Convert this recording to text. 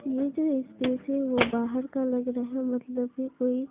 ये जो स्पेस है वो बाहर का लग रहा है मतलब कि कोई--